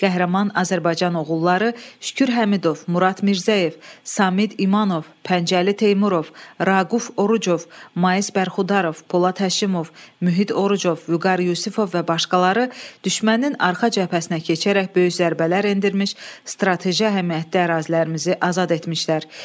Qəhrəman Azərbaycan oğulları Şükür Həmidov, Murad Mirzəyev, Samid İmanov, Pəncəli Teymurov, Raquf Orucov, Mais Bərxudarov, Polad Həşimov, Mühit Orucov, Vüqar Yusifov və başqaları düşmənin arxa cəbhəsinə keçərək böyük zərbələr endirmiş, strateji əhəmiyyətdə ərazilərimizi azad etmişlər.